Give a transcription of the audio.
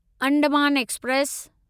Andaman express